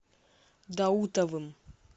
даутовым